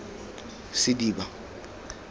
sediba